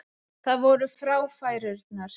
Það voru fráfærurnar.